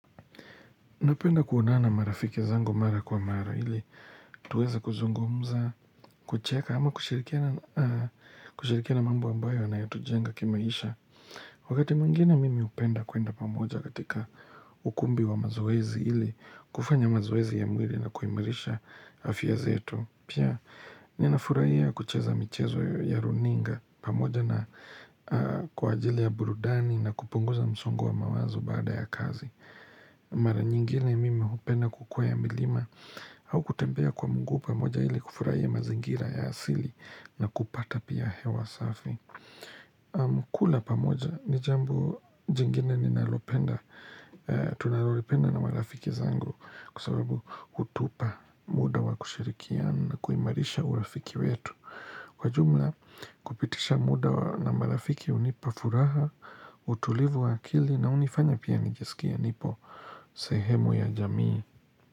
Napenda kuonana na marafiki zangu mara kwa mara ili tuweza kuzungumza, kucheka ama kushirikiana na mambo ambayo yanayo tujenga kimaisha. Wakati mwingine mimi upenda kwenda pamoja katika ukumbi wa mazoezi ili kufanya mazoezi ya mwili na kuimarisha afya zetu. Pia ninafuraiya kucheza michezo ya runinga pamoja na kwa ajili ya burudani na kupunguza msongo wa mawazo baada ya kazi. Mara nyingine mimi hupenda kukwea milima au kutembea kwa mguu pamoja ili kufurahia mazingira ya asili na kupata pia hewa safi kula pamoja ni jambo jingine ninalopenda Tunalopenda na marafiki zangu Kwasababu hutupa muda wa kushirikiana na kuimarisha urafiki wetu Kwa jumla kupitisha muda na marafiki unipafuraha utulivu wa akili na unifanya pia nijisikia nipo sehemu ya jamii.